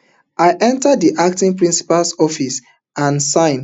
i enta di acting principal office and sign